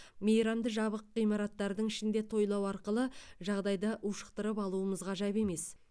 мейрамды жабық ғимараттардың ішінде тойлау арқылы жағдайды ушықтырып алуымыз ғажап емес